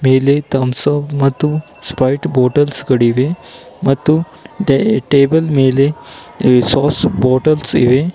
ಮೇಲೆ ತಮ್ಸೊ ಮತ್ತು ಸ್ಪೈಟ ಬಾಟಲ್ಸ್ ಗಳಿವೆ ಮತ್ತು ಡೇ ಟೇಬಲ್ ಮೇಲೆ ಎ ಸಾಸ್ ಬಾಟಲ್ಸ್ ಇವೆ.